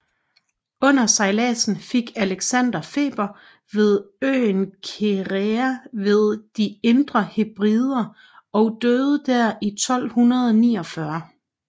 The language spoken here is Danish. Under sejlasen fik Alexander feber ved øenKerrera ved de indre hebrider og døde der i 1249